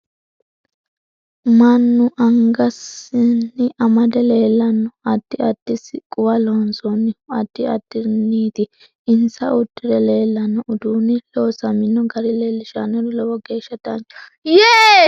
Mannu angasanni amade leelanno adidi addi siqquwa loonsoonihu addi addiriniiti insa uddirre leelanno uduuni loosaminno gari leelishannori lowo geeaha danchaho